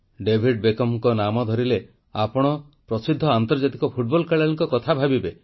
David ବେକହାମଙ୍କ ନାଁ କହିଲେ ଆପଣ ପ୍ରସିଦ୍ଧ ଆନ୍ତର୍ଜାତିକ ଫୁଟବଲ ଖେଳାଳିଙ୍କ କଥା ଭାବିବେ